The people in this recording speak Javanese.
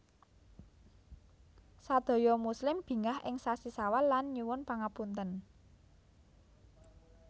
Sadaya muslim bingah ing sasi sawal lan nyuwun pangapunten